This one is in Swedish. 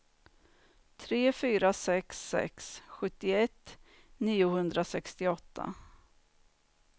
tre fyra sex sex sjuttioett niohundrasextioåtta